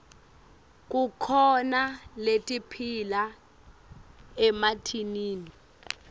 kukhona letiphila emantini